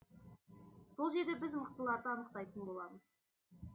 сол жерде біз мықтыларды анықтайтын боламыз